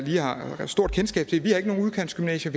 jeg har et stort kendskab til nogen udkantsgymnasier